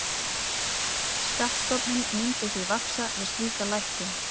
Skattstofninn myndi því vaxa við slíka lækkun.